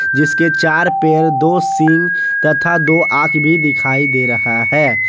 जिसके चार पैर दो सींग तथा दो आंख भी दिखाई दे रहा है।